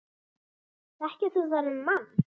Þekkir þú þennan mann?